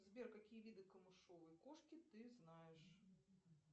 сбер какие виды камышовой кошки ты знаешь